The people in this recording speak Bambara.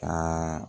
Ka